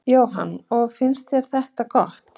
Jóhann: Og finnst þér þetta gott?